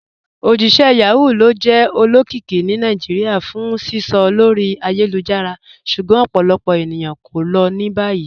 Ojíṣẹ̀ Yahoo lo jẹ́ olókìíkí ní Naijíríà fún sísọ̀ lórí ayélujára, ṣùgbọ́n ọ̀pọ̀lọpọ̀ ènìyàn ko ló ni báyì."